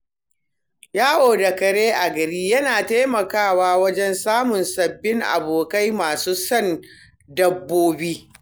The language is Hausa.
Yawo da kare a gari yana taimakawa wajen samun sabbin abokai masu son dabbobi.